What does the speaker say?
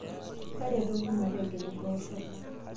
taretoki mategel mboosho